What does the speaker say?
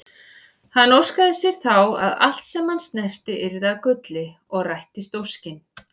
Hann óskaði sér þá að allt sem hann snerti yrði að gulli og rættist óskin.